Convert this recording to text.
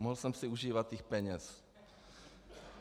Mohl jsem si užívat těch peněz.